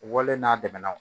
Wale n'a dɛmɛnɛna